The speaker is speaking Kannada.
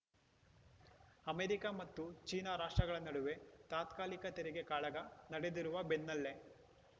ಅಮೆರಿಕ ಮತ್ತು ಚೀನಾ ರಾಷ್ಟ್ರಗಳ ನಡುವೆ ತಾತ್ಕಾಲಿಕ ತೆರಿಗೆ ಕಾಳಗ ನಡೆದಿರುವ ಬೆನ್ನಲ್ಲೇ